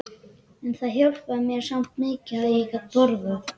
En það hjálpaði mér samt mikið að ég gat borðað.